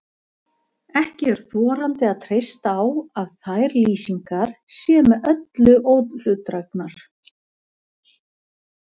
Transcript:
Ekki er þorandi að treysta á að þær lýsingar séu með öllu óhlutdrægar.